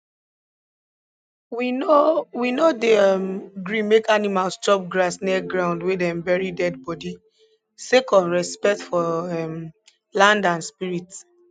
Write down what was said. we no we no dey um gree make animals chop grass near ground wey dem bury dead body sake of respect for um land and spirits